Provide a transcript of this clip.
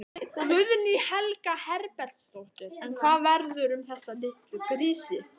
Guðný Helga Herbertsdóttir: En hvað verður um þessa litlu grísi?